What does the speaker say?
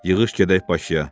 Yığış gedək Bakıya.